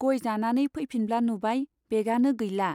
गय जानानै फैफिनब्ला नुबाय, बेगानो गैला।